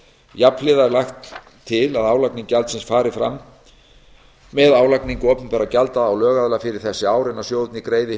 jafnhliða er lagt til að álagning gjaldsins fari fram með álagningu opinberra gjalda á lögaðila fyrir þessi ár en að sjóðirnir greiði